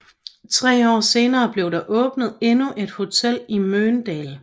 Tre år senere blev der åbnet endnu et hotel i Mölndal